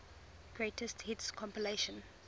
greatest hits compilation